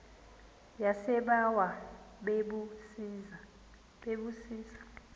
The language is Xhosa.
yasebawa bebu zisa